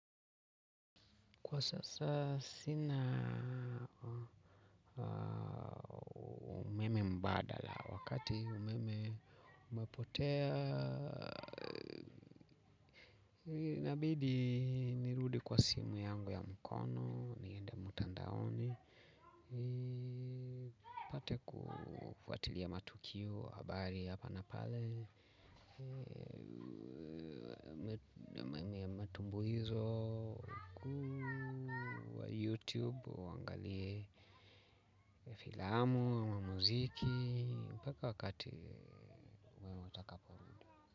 Kwa sasa sina umeme mbadala wakati umeme umepotea. Inabidi nirudi kwa simu yangu ya mkono niende mutandaoni nipate kufuatilia matukio habari hapa na pale. Na maneno ya matumbo hizo, wakuu, wa YouTube, waangalie filamu, ama muziki, mpaka wakati mwema utakaporu.